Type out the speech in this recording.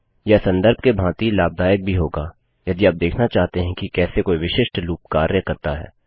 यह सन्दर्भ के भांति लाभदायक भी होगा यदि आप देखना चाहते हैं कि कैसे कोई विशिष्ट लूप कार्य करता है